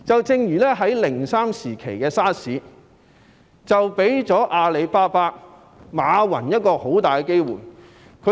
正如2003年 SARS 期間，阿里巴巴的馬雲便掌握了很好的機會。